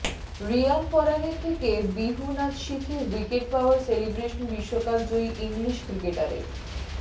রিয়ান পরাগের থেকে বিহু নাচ শিখে উইকেট পাওয়ার সেলিব্রেশন বিশ্বকাপজয়ী ইংলিশ ক্রিকেটারের